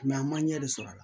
an ma ɲɛ de sɔr'a la